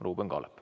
Ruuben Kaalep.